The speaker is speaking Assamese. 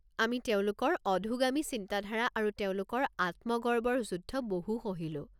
আমি তেওঁলোকৰ অধোগামী চিন্তাধাৰা আৰু তেওঁলোকৰ আত্মগৰ্বৰ যুদ্ধ বহু সহিলো।